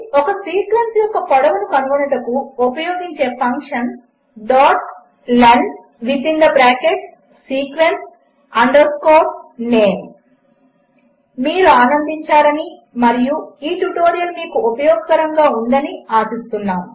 ఒకసీక్వెన్స్యొక్కపొడవునుకనుగొనుటకుఉపయోగించేఫంక్షన్ lensequence name మీరుఆనందించారనిమరియుమీకుఉపయోగకరముగాఉందనిఆశిస్తున్నాము